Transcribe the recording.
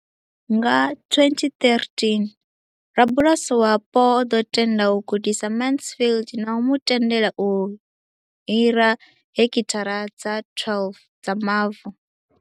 Nga 2013, rabulasi wapo o ḓo tenda u gudisa Mansfield na u mu tendela u hira heki thara dza 12 dza mavu.